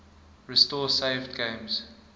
restore saved games